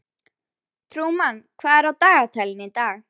Trúmann, hvað er á dagatalinu í dag?